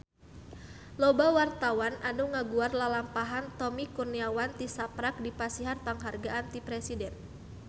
Loba wartawan anu ngaguar lalampahan Tommy Kurniawan tisaprak dipasihan panghargaan ti Presiden